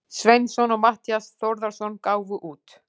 Sveinsson og Matthías Þórðarson gáfu út.